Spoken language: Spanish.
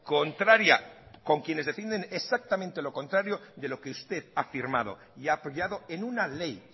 contraria con quienes defienden exactamente lo contrario de lo que usted ha firmado y ha apoyado en una ley